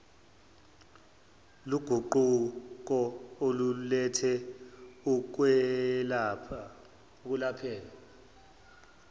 loguquko oluletha ukwelapheka